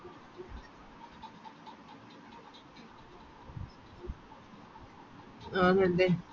ആന്നല്ലേ